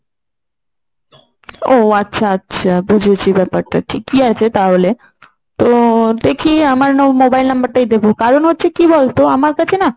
ও আচ্ছা আচ্ছা বুঝেছি ব্যাপারটা। ঠিকই আছে তাহলে। তো দেখি আমার mobile number টাই দেবো কারন হচ্ছে কি বলতো আমার কাছে না